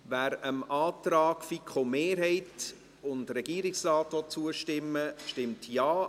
Wer dem Antrag FiKo-Mehrheit und Regierungsrat zustimmen will, stimmt Ja,